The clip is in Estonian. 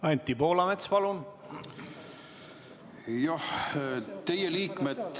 Anti Poolamets, palun!